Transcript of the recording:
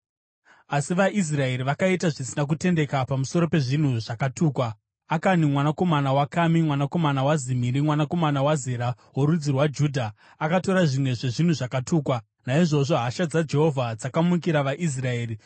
Asi vaIsraeri vakaita zvisina kutendeka pamusoro pezvinhu zvakatukwa; Akani mwanakomana waKami, mwanakomana waZimiri, mwanakomana waZera, worudzi rwaJudha, akatora zvimwe zvezvinhu zvakatukwa. Naizvozvo hasha dzaJehovha dzakamukira vaIsraeri.